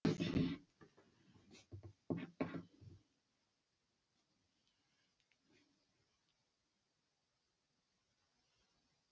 бұл тәуелсіздік алғаннан бері қалада тұрғызылған алғашқы білім ордасы